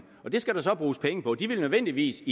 og det skal der så bruges penge på de vil nødvendigvis